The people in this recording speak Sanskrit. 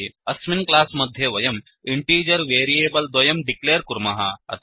अस्मिन् क्लास् मध्ये वयं इण्टीजर् वेरियेबल् द्वयं डिक्लेर् कुर्मः